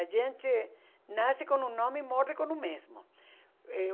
A gente nasce com um nome e morre com o mesmo. Eh